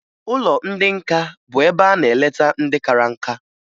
Ụlọ ndị nka bụ ebe a na-eleta ndị kara nká